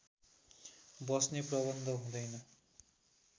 बस्ने प्रबन्ध हुँदैन